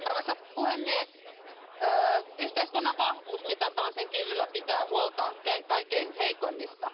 Arvoisa puhemies, yhteiskunnan vahvuus mitataan sen kyvyllä pitää huolta kaikkein heikoimmista.